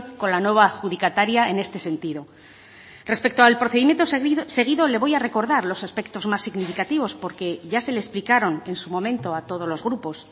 con la nueva adjudicataria en este sentido respecto al procedimiento seguido le voy a recordar los aspectos más significativos porque ya se le explicaron en su momento a todos los grupos